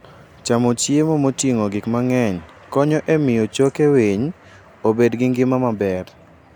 Chamo chiemo moting'o gik mang'eny konyo e miyo choke winy obed gi ngima maber.